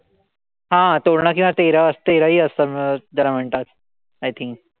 हा तोरणा किंवा तेरा तेराळी असतात त्याला म्हणतात. I think